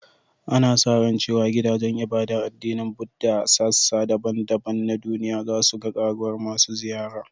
Ana sa ran cewa gidajen ibadar addinin Buddah a sassa daban-daban na duniya za su ga ƙaruwar masu ziyara